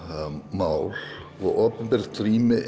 mál og opinbert rými